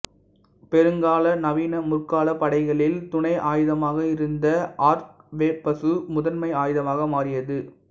பெரும்பாலான நவீனமுற்கால படைகளில் துணை ஆயுதமாக இருந்த ஆர்க்வெபசு முதன்மை ஆயுதமாக மாறியது